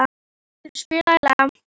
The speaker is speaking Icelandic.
Eyþrúður, spilaðu lag.